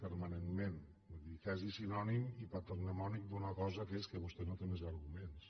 permanentment quasi sinònim i patrimoni d’una cosa que és que vostè no té més arguments